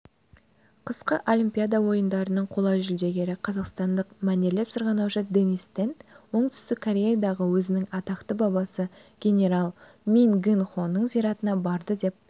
қысқы олимпиада ойындарының қола жүлдегері қазақстандық мәнерлеп сырғанаушы денис тен оңтүстік кореядағы өзінің атақты бабасы генерал мин гын-хоның зиратына барды деп